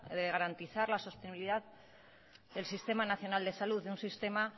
de garantizar la sostenibilidad del sistema nacional de salud un sistema